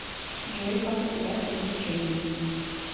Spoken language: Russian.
джой как у тебя с развлечениями